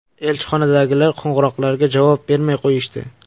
Elchixonadagilar qo‘ng‘iroqlarga javob bermay qo‘yishdi.